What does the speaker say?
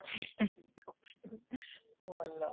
ଭଲ